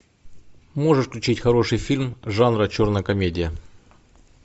можешь включить хороший фильм жанра черная комедия